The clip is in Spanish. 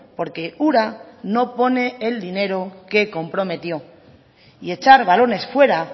porque ura no pone el dinero que comprometió y echar balones fuera